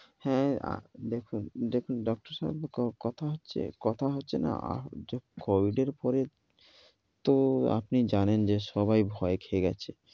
হ্যাঁ দেখুন, দেখুন doctor সাব, কথা হচ্ছে কথা হচ্ছে না এসব false এর উপরে তো আপনি জানেন যে সবাই ভয় খেয়ে গেছে।